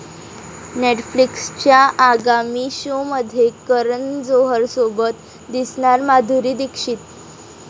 नेटफ्लिक्सच्या आगामी शोमध्ये करण जोहरसोबत दिसणार माधुरी दीक्षित